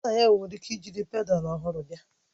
Nna ya nwere ike jiri pedalu ọhụrụ bịa